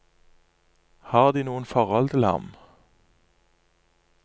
Har de noe forhold til ham?